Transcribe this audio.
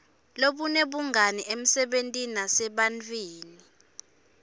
lobunebungani emsebentini nasebantfwini